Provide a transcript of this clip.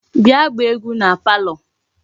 Bia gbaa egwu na palo